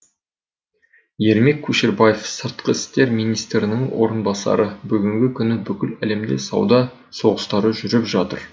ермек көшербаев сыртқы істер министрінің орынбасары бүгінгі күні бүкіл әлемде сауда соғыстары жүріп жатыр